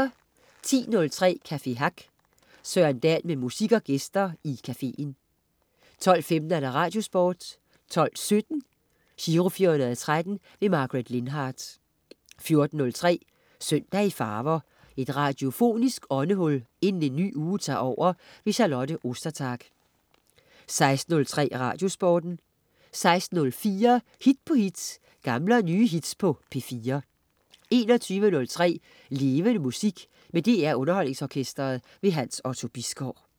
10.03 Café Hack. Søren Dahl med musik og gæster i caféen 12.15 Radiosporten 12.17 Giro 413. Margaret Lindhardt 14.03 Søndag i farver. Et radiofonisk åndehul inden en ny uge tager over. Charlotte Ostertag 16.03 Radiosporten 16.04 Hit på hit. Gamle og nye hits på P4 21.03 Levende Musik. Med DR Underholdningsorkestret. Hans Otto Bisgaard